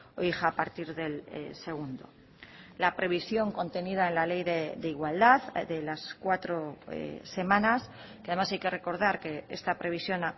o hija a partir del segundo la previsión contenida en la ley de igualdad de las cuatro semanas que además hay que recordar que esta previsión